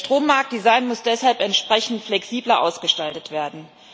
Das Strommarkt Design muss deshalb entsprechend flexibler ausgestaltet werden.